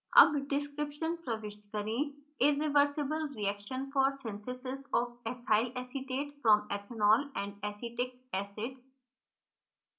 अब description प्रविष्ट करें irreversible reaction for synthesis of ethyl acetate from ethanol and acetic acid